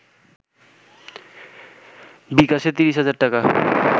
বি-ক্যাশে ৩০ হাজার টাকা